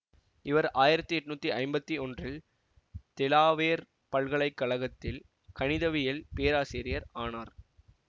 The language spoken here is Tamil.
இவர் ஆயிரத்தி எட்ணூத்தி ஐம்பத்தி ஒன்றில் தெலாவேர் பல்கலை கழகத்தில் கணிதவியல் பேராசிரியர் ஆனார்